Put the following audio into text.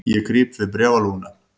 Ég krýp við bréfalúguna.